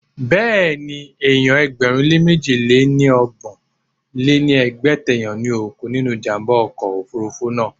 Béèni, èèyàn ẹgbẹ̀rún lé mẹ́ji lé ní ọgbọ̀n lé ní ẹgbẹ́ta èèyàn ni ó kú nínú ìjàmbá ọkọ̀ òfurufú náà.